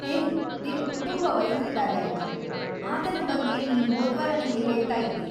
ಹೇ, ನಿನ್‌ ಕುಟುಂಬ ವೈದ್ರಿದಾರೆ ಅಲ್ವಾ? ಆತನ ಬಗ್ಗೆ ನೀನ್‌ ಹೋದ್ವಾರ ನಂಗೆ ಹೇಳ್ತಾಯಿದ್ದಿ.